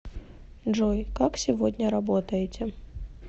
джой как сегодня работаете